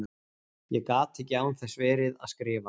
Ég gat ekki án þess verið að skrifa.